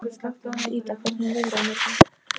Ida, hvernig er veðrið á morgun?